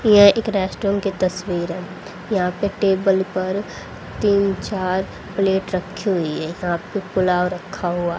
ये एक रेस्टोरेंट की तस्वीर है यहां पे टेबल पर तीन चार प्लेट रखी हुई है यहां पे पुलाव रखा हुआ--